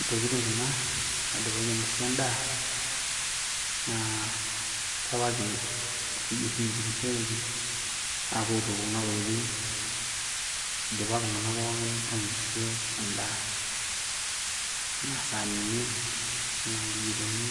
intokitin kuna naidipaki ainosie endaa , naa kewaki ewueji oshi nitukushoreki apuo aituku kuna tokiting idipa iltung'anak pookin ainosie endaa. Enaa sanini. enaa nkijikoni,